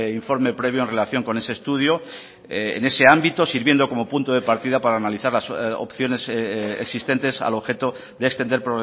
informe previo en relación con ese estudio en ese ámbito sirviendo como punto de partida para analizar las opciones existentes al objeto de extender